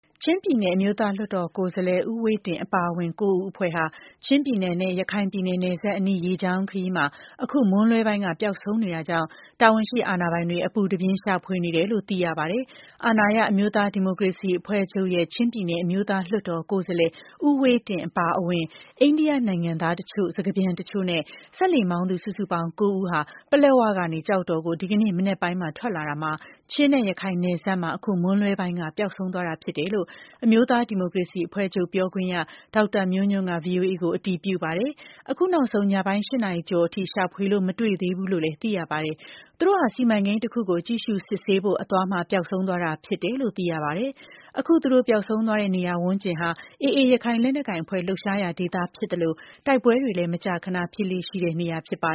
ချင်းပြည်နယ် အမျိုးသားလွှတ်တော်ကိုယ်စားလှယ် ဦးဝှေ့တင်း အပါအဝင် ၉ ဦးအဖွဲ့ဟာ ချင်းပြည်နယ်နဲ့ ရခိုင်ပြည်နယ် နယ်စပ်အနီး ရေကြောင်းခရီးမှာ အခုမွန်းလွဲပိုင်းက ပျောက်ဆုံးနေတာကြောင့် တာဝန်ရှိ အာဏာပိုင်တွေ အပူတပြင်း ရှာဖွေနေတယ်လို့ သိရပါတယ်။ အာဏာရ အမျိုးသားဒီမိုကရေစီအဖွဲ့ချုပ်ရဲ့ ချင်းပြည်နယ် အမျိုးသားလွှတ်တော် ကိုယ်စားလှယ် ဦးဝှေ့တင်း အပါအဝင် အိန္ဒိယနိုင်ငံသားအချို့၊ စကားပြန်အချို့နဲ့ စက်လှေမောင်းသူ စုစုပေါင်း ၉ ဦးဟာ ပလက်ဝကနေ ကျောက်တော်ကို ဒီကနေ့ မနက်ပိုင်း ထွက်လာရာမှာ ချင်းနဲ့ ရခိုင်နယ်စပ်မှာ အခုမွန်းလွဲပိုင်းက ပျောက်ဆုံးသွားတာဖြစ်တယ်လို့ အမျိုးသားဒီမိုကရေစီအဖွဲ့ချုပ် ပြောခွင့်ရသူ ဒေါက်တာမျိုးညွန့်က ဗွီအိုအေကို အတည်ပြုပါတယ်။ အခုနောက်ဆုံး ညပိုင်း ၈ နာရီကျော်အထိ ရှာဖွေလို့ မတွေ့သေးဘူးလို့ သိရပါတယ်။ သူတို့ဟာ စီမံကိန်းတခုကို ကြည့်ရှုစစ်ဆေးဖို့အသွား ပျောက်ဆုံးနေတာဖြစ်တယ်လို့ သိရပါတယ်။ အခု သူတို့ပျောက်ဆုံးသွားတဲ့ နေရာဝန်းကျင်ဟာ AA ရခိုင်လက်နက်ကိုင်အဖွဲ့ လှုပ်ရှားရာဒေသဖြစ်သလို တိုက်ပွဲတွေလည်း မကြာမကြာ ဖြစ်လေ့ရှိတဲ့နေရာပါ